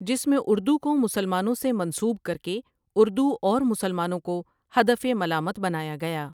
جس میں اردو کو مسلمانوں سے منسوب کرکے اردو اور مسلمانوں کو ہدف ملامت بنایا گیا ۔